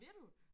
Vil du?